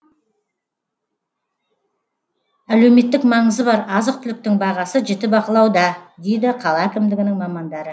әлеуметтік маңызы бар азық түліктің бағасы жіті бақылауда дейді қала әкімдігінің мамандары